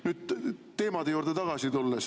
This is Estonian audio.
Nüüd tulen teemade juurde tagasi.